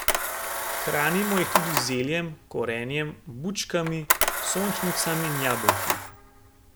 Hranimo jih tudi z zeljem, korenjem, bučkami, sončnicami in jabolki.